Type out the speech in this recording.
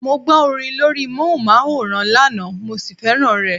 Mo gbọ́ orin lórí móhùnmáwòrán lánàá mo sì fẹ́ràn rẹ̀.